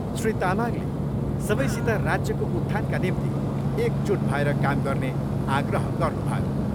श्री तामाङले सबैसित राज्यको उत्थानका निम्ति एकजुट भएर काम गर्ने आग्रह गर्नुभयो।